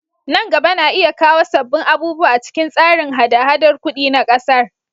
Nan gaba na iya kawo sabbin abubuwa a cikin tsarin haɗa-haɗar kudi na kasar.